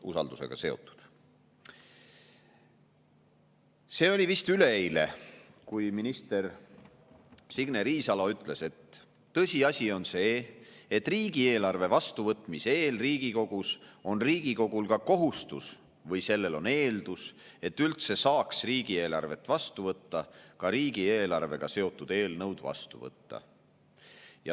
See oli vist üleeile, kui minister Signe Riisalo ütles, et tõsiasi on see, et riigieelarve vastuvõtmise eel on Riigikogul kohustus riigieelarvega seotud eelnõud vastu võtta või õigemini, see on eeldus, et üldse saaks riigieelarve vastu võtta.